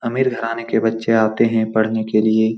अमीर घराने के बच्चें आते हैं पढ़ने के लिए।